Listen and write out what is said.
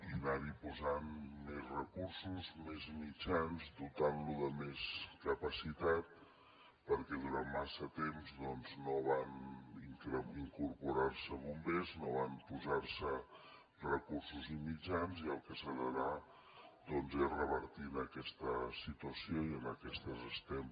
i anar hi posant més recursos més mitjans dotant lo de més capacitat perquè durant massa temps no van incorporar se bombers no van posar se recursos ni mitjans i el que s’ha d’anar doncs és revertint aquesta situació i en això estem